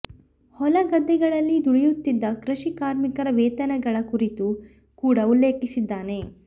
ಹೊಲ ಗದ್ದೆಗಳಲ್ಲಿ ದುಡಿಯುತ್ತಿದ್ದ ಕೃಷಿ ಕಾರ್ಮಿಕರ ವೇತನಗಳ ಕುರಿತು ಕೂಡ ಉಲ್ಲೇಖಿಸಿದ್ದಾನೆ